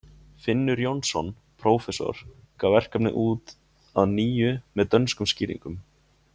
finnur jónsson prófessor gaf verkið út að nýju með dönskum skýringum